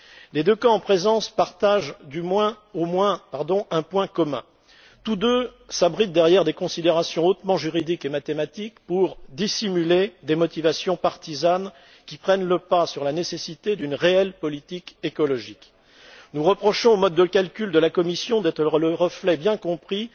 Les deux camps en présence partagent au moins un point commun tous deux s'abritent derrière des considérations hautement juridiques et mathématiques pour dissimuler des motivations partisanes, qui prennent le pas sur la nécessité d'une réelle politique écologique. Nous reprochons au mode de calcul de la Commission d'être le reflet des intérêts bien compris